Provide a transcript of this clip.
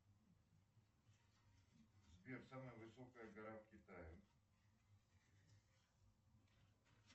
сбер самая высокая гора в китае